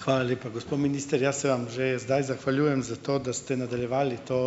Hvala lepa. Gospod minister, jaz se vam že zdaj zahvaljujem za to, da ste nadaljevali to,